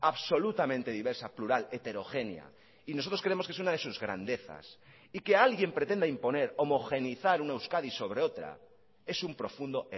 absolutamente diversa plural heterogénea y nosotros creemos que es una de sus grandezas y que alguien pretenda imponer homogeneizar una euskadi sobre otra es un profundo